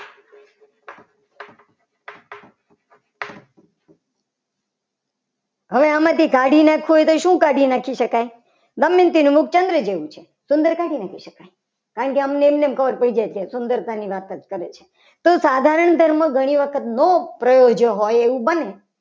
હવે આમાંથી કાઢી નાખવું હોય તો શું કાઢી નખાય. દમયંતી નું મુખ ચંદ્ર જેવું છે સુંદર કાઢી નાખીએ. કારણ કે અમને એમ જ ખબર પડી જાય. કે અહીંયા સુંદરતાની વાત કરે છે. તો સાધારણ ધર્મ ઘણી વખત ન પ્રયોજ્યો હોય એવું બને.